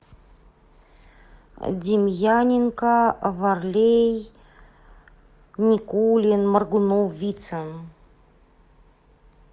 демьяненко варлей никулин моргунов вицин